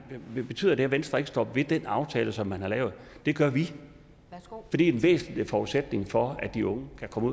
betyder det at venstre ikke står ved den aftale som man har lavet det gør vi for det er en væsentlig forudsætning for at de unge kan komme